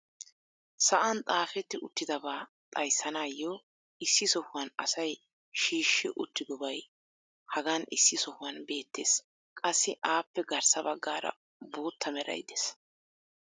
sa'an xaafetti uttidabaa xayssanaayo issi sohuwan asay shiishshi uttidobay hagan issi sohuwan beetees. qassi appe garssa bagaara bootta meray dees.